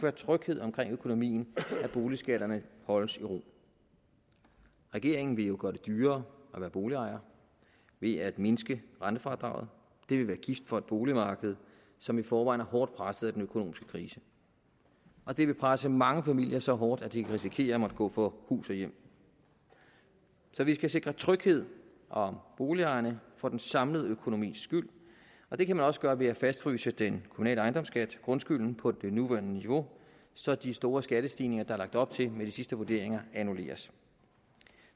er tryghed om økonomien og at boligskatterne holdes i ro regeringen vil jo gøre det dyrere at være boligejer ved at mindske rentefradraget det vil være gift for et boligmarked som i forvejen er hårdt presset af den økonomiske krise og det vil presse mange familier så hårdt at de kan risikere at måtte gå fra hus og hjem så vi skal sikre tryghed om boligejerne for den samlede økonomis skyld og det kan man også gøre ved at fastfryse den kommunale ejendomsskat grundskylden på det nuværende niveau så de store skattestigninger der er lagt op til med de sidste vurderinger annulleres